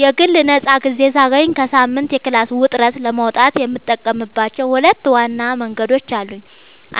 የግል ነፃ ጊዜ ሳገኝ ከሳምንቱ የክላስ ውጥረት ለመውጣት የምጠቀምባቸው ሁለት ዋና መንገዶች አሉኝ።